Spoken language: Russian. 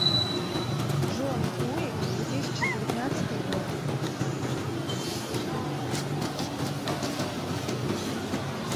джон уик две тысячи девятнадцатый год